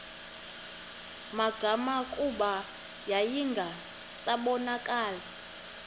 magama kuba yayingasabonakali